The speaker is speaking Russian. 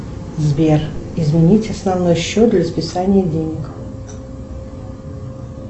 сбер изменить основной счет для списания денег